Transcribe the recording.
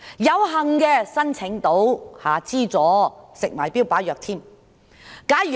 有幸申請到資助的患者，可服食標靶藥。